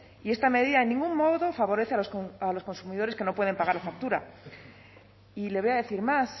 y esta medida de ningún modo favorece a los consumidores que no pueden pagar la factura y le voy a decir más